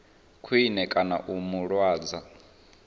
khwine kana u mu lwadza